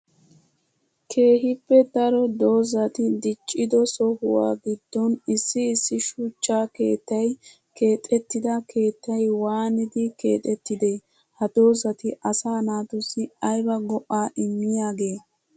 Keehippe daro doozatti dicciddo sohuwaa gidon issi issi shuchcha keettay keexettida keettay waanidi kexettidee? Ha doozatti asaa naatussi ayba go'a immiyaage?